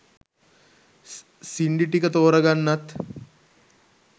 සින්ඩි ටික තෝරගන්නත්